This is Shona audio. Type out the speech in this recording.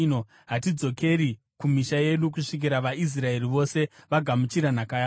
Hatizodzokeri kumisha yedu kusvikira vaIsraeri vose vagamuchira nhaka yavo.